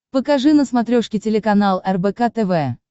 покажи на смотрешке телеканал рбк тв